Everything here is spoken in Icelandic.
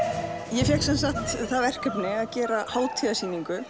ég fékk semsagt það verkefni að gera